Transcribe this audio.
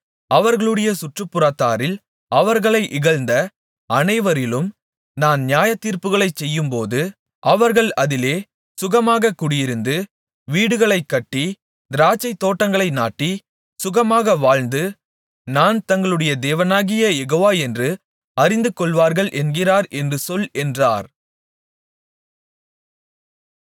அவர்களுடைய சுற்றுப்புறத்தாரில் அவர்களை இகழ்ந்த அனைவரிலும் நான் நியாயத்தீர்ப்புகளைச் செய்யும்போது அவர்கள் அதிலே சுகமாகக் குடியிருந்து வீடுகளைக் கட்டி திராட்சைத்தோட்டங்களை நாட்டி சுகமாக வாழ்ந்து நான் தங்களுடைய தேவனாகிய யெகோவா என்று அறிந்துகொள்வார்கள் என்கிறார் என்று சொல் என்றார்